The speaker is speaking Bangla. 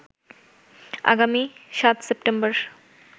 আগামী ৭ সেপ্টেম্বর